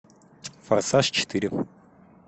форсаж четыре